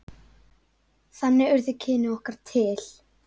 Þannig urðu kynni okkar til.